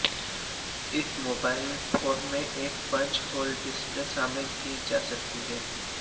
इस mobile phone में एक पंच होल डिस्प्ले शामिल की जा सकती है